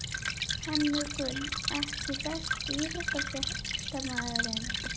Hemmi Gunn EKKI besti íþróttafréttamaðurinn?